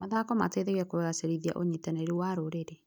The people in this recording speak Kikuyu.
Mathako mateithagia kũgacĩrithia ũnyitanĩri wa rũrĩrĩ.